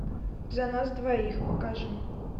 за нас двоих покажи